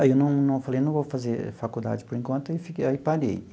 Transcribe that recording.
Aí não não falei, eu não vou fazer faculdade por enquanto e fiquei, aí parei.